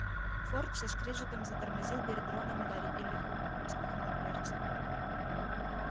форд со скрежетом затормозил перед роном и гарри и лихо распахнул дверцы